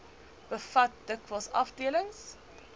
bevat dikwels afdelings